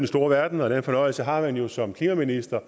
store verden og den fornøjelse har man jo som klimaminister